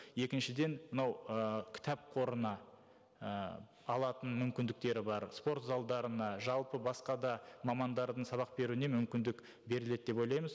екіншіден мынау ы кітап қорына і алатын мүмкіндіктері бар спортзалдарына жалпы басқа да мамандардың сабақ беруіне мүмкіндік беріледі деп ойлаймыз